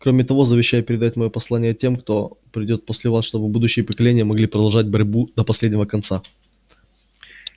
и кроме того завещаю передать моё послание тем кто придёт после вас чтобы будущие поколения могли продолжать борьбу до последнего конца